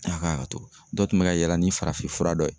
A ka haketo dɔ tun be ka yala ni farafin fura dɔ ye